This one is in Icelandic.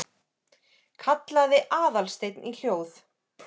kallaði Aðalsteinn í hljóð